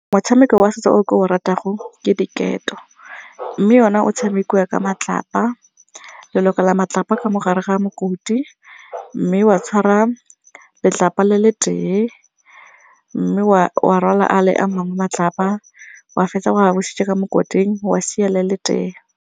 Motshameko wa setso o ke o ratang ke diketo mme yona o tshamekiwa ka matlapa, le lokela matlapa ka mogare ga mokoti mme wa tshwara letlapa le le tee mme wa rwala a le a mangwe matlapa wa fetsa wa a busetsa ka mo mokoting wa sia le le tee.